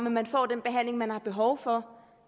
at man får den behandling man har behov for